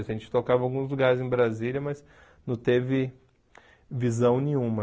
A gente tocava em alguns lugares em Brasília, mas não teve visão nenhuma.